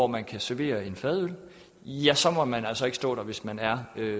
man kan servere en fadøl ja så må man altså ikke stå der hvis man er